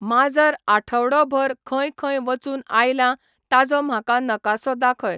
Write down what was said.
माजर आठवडोभर खंय खंय वचून आयलां ताजो म्हाका नकासो दाखय